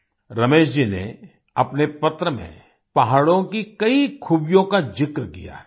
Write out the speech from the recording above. रमेश जी ने अपने पत्र में पहाड़ों की कई खूबियों का ज़िक्र किया है